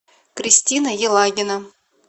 кристина елагина